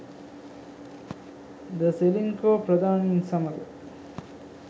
ද සෙලින්කෝ ප්‍රධානින් සමග